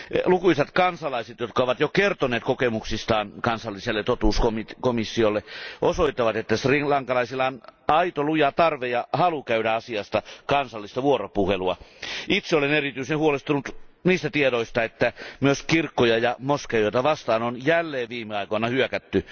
Lukuisat kansalaiset, jotka ovat jo kertoneet kokemuksistaan kansalliselle totuuskomissiolle, osoittavat sen, että srilankalaisilla on aito luja tarve ja halu käydä asiasta kansallista vuoropuhelua. Itse olen erityisen huolestunut niistä tiedoista, joiden mukaan myös kirkkoja ja moskeijoita vastaan on jälleen viime aikoina hyökätty.